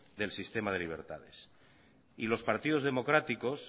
del sistema de libertades y los partidos democráticos